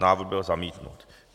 Návrh byl zamítnut.